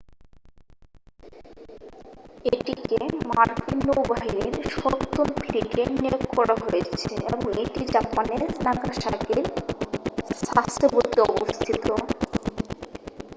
এটিকে মার্কিন নৌবাহিনীর সপ্তম ফ্লিটে নিয়োগ করা হয়েছে এবং এটি জাপানের নাগাসাকির সাসেবোতে অবস্থিত